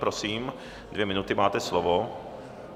Prosím, dvě minuty, máte slovo.